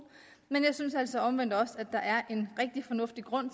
men jeg synes altså omvendt også at der er en rigtig fornuftig grund